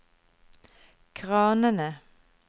kranene